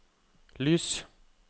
lys